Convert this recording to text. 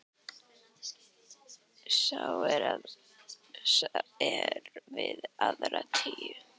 Sá er við aðra tíu.